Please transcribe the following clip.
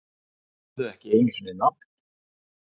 Höfðu ekki einu sinni nafn.